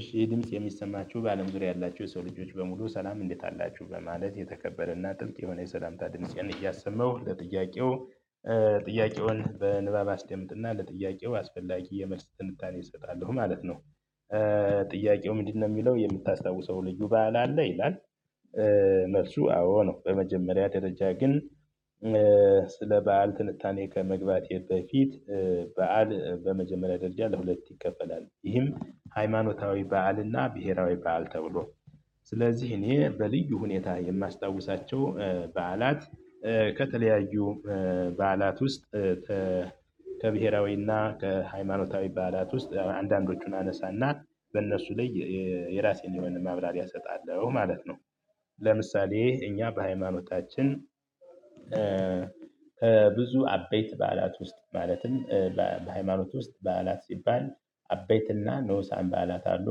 እሺ ይሄ ድምጽ የሚሰማችሁ በአለም ዙሪያ ያላችሁ የሰው ልጆች በሙሉ ሰላም እንዴት አላችሁ በማለት የተከበረና ጥልቅ የሆነ የሰላምታ ድምፄን እያሰመው ለጥያቄው ጥያቄውን በንባብ አስደምጥና ለጥያቄው አስፈላጊ የመልስ ትንታኔ እሰጣለሁ ማለት ነው። ጥያቄው ምንድነው የሚለው የምታስታውሰው ልዩ በዓል አለ ይላል? መልሱ አዎ ነው በመጀመሪያ ደረጃ ግን ስለ በዓል ትንታኔ ከመግባቴ በፊት በዓል በመጀመሪያ ደረጃ ለሁለት ይከፈላል ይህም ሃይማኖታዊ በዓልና ብሄራዊ በዓል ተብሎ። ስለዚህ እኔ በልዩ ሁኔታ የማስታውሳቸው በዓላት ከተለያዩ በዓላት ውስጥ ከብሄራዊና ከሃይማኖታዊ በዓላት ውስጥ አንዳንዶቹን አነሳና በእነሱ ላይ የራሴን የሆነ ማብራሪያ እሰጣለሁ ማለት ነው። ለምሳሌ እኛ በሃይማኖታችን ብዙ አበይት በዓላት ውስጥ ማለትም በሃይማኖት ውስጥ በዓላት ሲባል አቤትና ንኡሳን በዓላት አሉ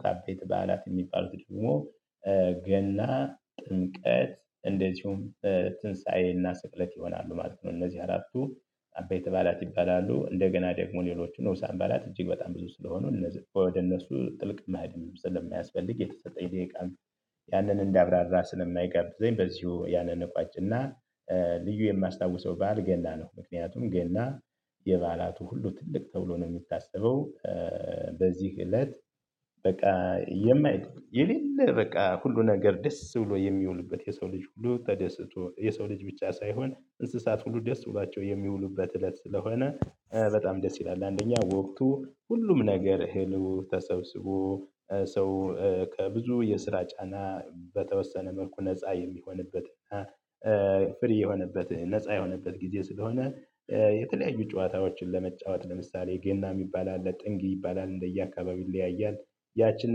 ከአበይት በዓላት የሚባሉት ደግሞ ገና ጥምቀት እንደዚሁም ትንሳኤና ስቅለት ይሆናሉ። ማለት ነው እነዚህ አራቱ አበይት በዓላት ይባላሉ። እንደገና ደግሞ ሌሎቹን ንኡሳን በዓላት እጅግ በጣም ብዙ ስለሆኑ እነዚህ ወደ እነሱ ጥልቅ ማድረግ ስለሚያስፈልግ የተሰጠኝ ደቂቃን ያንን እንዳብራራ ስለማይጋብዘኝ በዚሁ ያንን እቋጭና። ልዩ የማስታውሰው ባል ገና ነው ምክንያቱም ገና የበዓላቱ ሁሉ ትልቅ ተብሎ ነው የሚታሰበው። በዚህ እለት በቃ የማይደርስ የሌለ በቃ ሁሉ ነገር ደስ ብሎ የሚውሉበት የሰው ልጅ ሁሉ ተደስቶ የሰው ልጅ ብቻ ሳይሆን እንስሳት ሁሉ ደስ ብሏቸው የሚውሉበት እለት ስለሆነ በጣም ደስ ይላል። አንደኛ ወቅቱ ሁሉም ነገር እህሉ ተሰብስቦ ሰው ከብዙ የስራ ጫና በተወሰነ መልኩ ነፃ የሚሆንበት። ፍሪ የሆነበት ነፃ የሆነበት ጊዜ ስለሆነ የተለያዩ ጨዋታዎችን ለመጫወት ለምሳሌ ገና የሚባል አለ ጥንግ ይባላል እንደየ አካባቢው ይለያያል። ያችን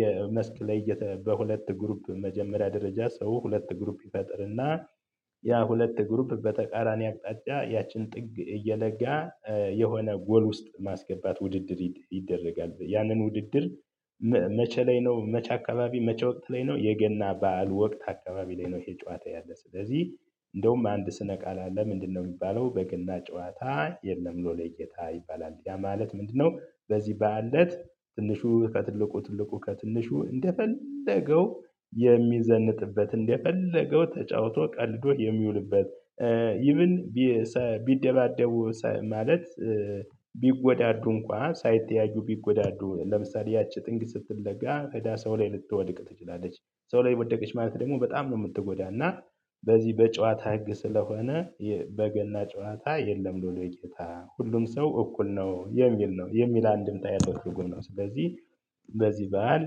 የመስክ ላይ በሁለት ግሩፕ መጀመሪያ ደረጃ ሰው ሁለት ግሩፕ ይፈጥርና ያ ሁለት ግሩፕ በተቃራኒ አቅጣጫ ያችን ጥግ እየለጋ የሆነ ጎል ውስጥ ማስገባት ውድድር ይደረጋል ያንን ውድድር። መቼ ላይ ነው መቼ አካባቢ መቼ ወቅት ላይ ነው የገና በዓል ወቅት አካባቢ ላይ ነው? ይሄ ጨዋታ ያለ ስለዚህ እንደውም አንድ ስነ ቃል ያለ ምንድነው የሚባለው? በገና ጨዋታ የለም። ሎሌ ጌታ ይባላል። ያ ማለት ምንድነው? በዚህ በዓል እለት ትንሹ ከትልቁ ትልቁ ከትንሹ እንደፈለገው የሚዘንጥበት እንደፈለገው ተጫውቶ ቀልዶ የሚውልበት። ኢቭን ቢደባደቡ ማለት ቢጎዳዱ እንኳን ሳይተያዩ ቢጎዳዱ ለምሳሌ ያቺ ጥንቅ ስትለጋ እዳ ሰው ላይ ልትወድቅ ትችላለች። ሰው ላይ ወደቀች ማለት ደግሞ በጣም ነው የምትጎዳና በዚህ በጨዋታ ህግ ስለሆነ። በገና ጨዋታ የለም ሎሌ ጌታ ሁሉም ሰው እኩል ነው የሚል ነው። የሚል አንድምታ የተወሰኑ ነው ስለዚህ በዚህ በዓል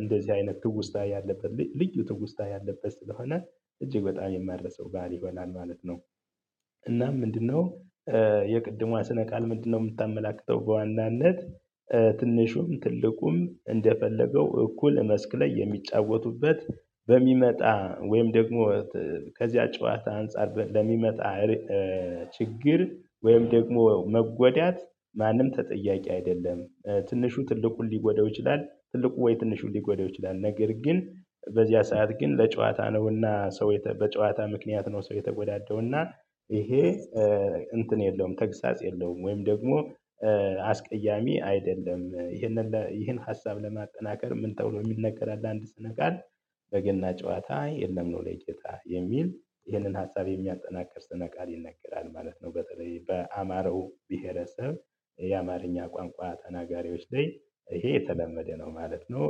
እንደዚህ አይነት ትውስታ ያለበት ልዩ ትውስታ ያለበት ስለሆነ እጅግ በጣም የማረሳው በዓል ይሆናል ማለት ነው። እና ምንድነው የቅድሟ ስነ ቃል ምንድነው? የምታመላክተው በዋናነት ትንሹም ትልቁም እንደፈለገው እኩል መስክ ላይ የሚጫወቱበት በሚመጣ ወይም ደግሞ ከዚያ ጨዋታ አንፃር ለሚመጣ ችግር ወይም ደግሞ መጎዳት ማንም ተጠያቂ አይደለም። ትንሹ ትልቁን ሊጎደው ይችላል ትልቁ ወይ ትንሹን ሊጎዳው ይችላል ነገር ግን በዚያ ሰዓት ግን ለጨዋታ ነውና ሰው በጨዋታ ምክንያት ነው ሰው የተጎዳደውና። ይሄ እንትን የለውም ተግሳጽ የለውም ወይም ደግሞ አስቀያሚ አይደለም። ይህንን ይህን ሀሳብ ለማጠናከር ምን ተውሎ የሚነገር አለ? አንድ ስነ ቃል በገና ጨዋታ የለም ኖሌ ጌታ የሚል ይህንን ሀሳብ የሚያጠናክር ስነ ቃል ይነገራል ማለት ነው። በተለይ በአማራው ብሄረሰብ የአማርኛ ቋንቋ ተናጋሪዎች ላይ ይሄ የተለመደ ነው ማለት ነው።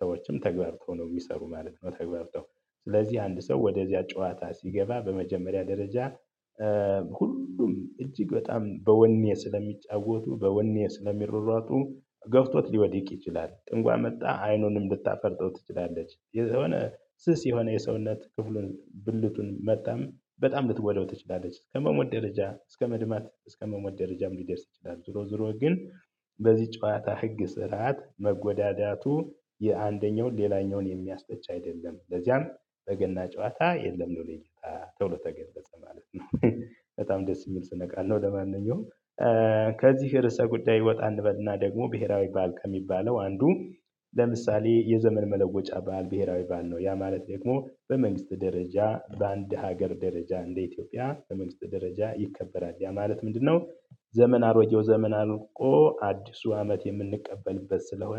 ሰዎችም ተግባብተው ነው የሚሰሩ ማለት ነው። ተግባርብው ስለዚህ አንድ ሰው ወደዚያ ጨዋታ ሲገባ በመጀመሪያ ደረጃ ሁሉም እጅግ በጣም በወኔ ስለሚጫወቱ በወኔ ስለሚሮሯጡ ገፍቶት ሊወድቅ ይችላል። ጥንጓ መጣ አይኑንም ልታፈርጠው ትችላለች የዛኔ ስስ የሆነ የሰውነት ክፍሉን ብልቱን መጣም በጣም ልትወደው ትችላለች ከመሞት ደረጃ እስከ መድማት እስከ መሞት ደረጃም ሊደርስ ይችላል። ዞሮ ዞሮ ግን በዚህ ጨዋታ ህግ ስርዓት መጎዳዳቱ የአንደኛው ሌላኛውን የሚያበጭ አይደለም። ለዚያም በገና ጨዋታ የለም ሎሌ ጌታ ተብሎ ተገለጸ ማለት ነው። በጣም ደስ የሚል ስነቃል ነው። ለማንኛውም ከዚህ ርዕሰ ጉዳይ ይወጣ እንበልና ደግሞ ብሄራዊ በዓል ከሚባለው አንዱ ለምሳሌ የዘመን መለወጫ በዓል ብሄራዊ በዓል ነው። ያ ማለት ደግሞ በመንግስት ደረጃ በአንድ ሀገር ደረጃ እንደ ኢትዮጵያ በመንግስት ደረጃ ይከበራል። ያ ማለት ምንድነው? ዘመን አሮጌው ወይ ዘመን እኮ አዲሱ አመት የምንቀበልበት ስለሆነ